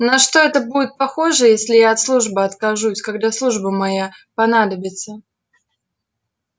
на что это будет похоже если я от службы откажусь когда служба моя понадобится